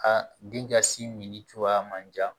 A den ka sin min cogoya man jan